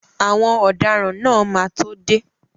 Àwọn ọ̀daràn náà máa tó dé.